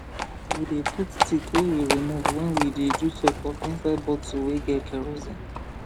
we dey put tick wey we remove when we dey do check up inside bottle wey get kerosine